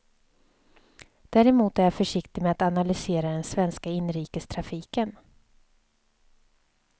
Däremot är jag försiktig med att analysera den svenska inrikestrafiken.